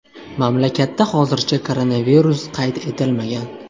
Mamlakatda hozircha koronavirus qayd etilmagan.